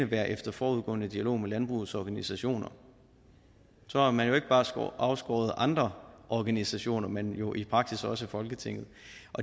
være efter forudgående dialog med landbrugets organisationer så har man jo ikke bare afskåret andre organisationer men jo i praksis også folketinget